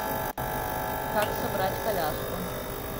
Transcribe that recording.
как собрать коляску